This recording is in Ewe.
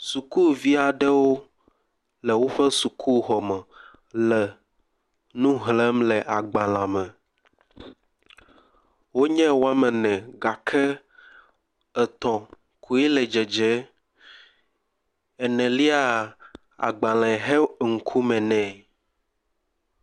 Sukuvi aɖewo le woƒe sukuxɔme le nu xlẽm le agbalẽme. Wonye woame ne gake etɔ̃ koe le dzedze. Eneliaa, agbalẽ xe ŋkume nɛ.